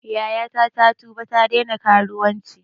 Yayata ta tuba ta daina karuwanci